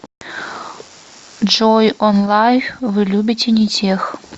джой онлайф вы любите не тех